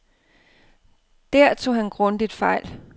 Der tog han grundigt fejl.